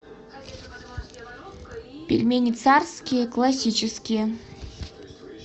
пельмени царские классические